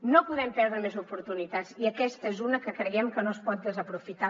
no podem perdre més oportunitats i aquesta és una que creiem que no es pot desaprofitar